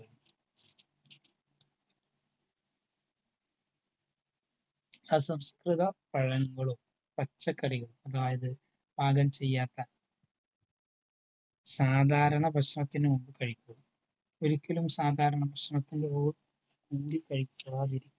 സസംസ്‌കൃത പഴങ്ങളും പച്ചക്കറികളും അതായതു പാകം ചെയ്യാത്ത സാധാരണ ഭക്ഷണത്തിനു മുൻപ് കഴിക്കരുത്. ഒരിക്കലും സാധാരണ ഭക്ഷണത്തിൻ്റെ കൂടെ കഴിക്കാതിരിക്കുവാൻ